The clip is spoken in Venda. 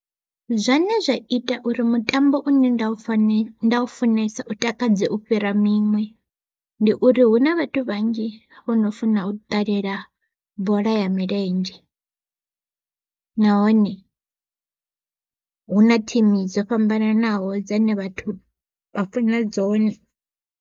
Zwane zwa ita uri mutambo une nda u funesa nda ufunesa u takadze u fhira miṅwe, ndi uri hu na vhathu vhanzhi vhono funa u ṱalela bola ya milenzhe. Nahone hu na thimu dzo fhambananaho dzane vhathu vha funa dzone.